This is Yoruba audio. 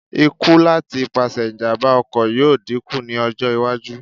Ikú láti ipasẹ̀ ìjàm̀bá ọkọ̀ yóò dínkù ní ọjọ́-iwájú.